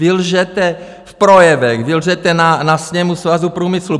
Vy lžete v projevech, vy lžete na sněmu Svazu průmyslu.